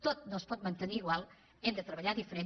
tot no es pot mantenir igual hem de treballar diferent